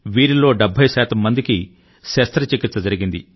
వీరిలో 70 శాతం మందికి శస్త్రచికిత్స జరిగింది